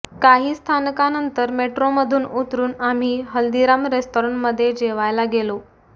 काही स्थानकांनंतर मेट्रोमधून उतरून आम्ही हल्दीराम रेस्तराँमधे जेवायला गेलो